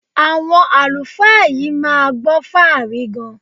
Àwọn àlùfáà yìí máa gbọ́ fáàrí gan-an.